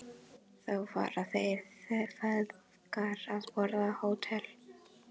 Þá fara þeir feðgar að borða á Hótel